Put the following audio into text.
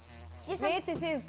vitið þið